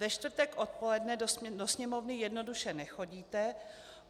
Ve čtvrtek odpoledne do Sněmovny jednoduše nechodíte.